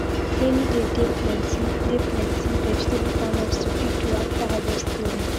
rainy day dey plenty dey plenty vegetable farmers to quick do afta harvest cleaning